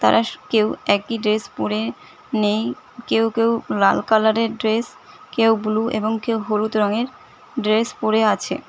তারা স কেউ একই ড্রেস পরে নেই কেউ কেউ লাল কালারের ড্রেস কেউ ব্লু এবং কেউ হলুদ রঙের ড্রেস পড়ে আছে।